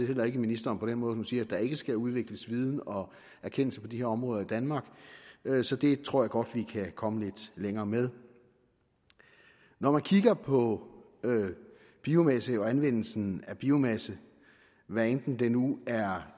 heller ikke ministeren på den måde at hun siger at der ikke skal udvikles viden og erkendelse på de her områder i danmark så det tror jeg godt vi kan komme lidt længere med når man kigger på biomasse og anvendelsen af biomasse hvad enten det nu er